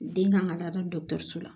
Den kan ka taa da dɔso la